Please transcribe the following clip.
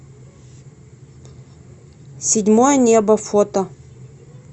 седьмое небо фото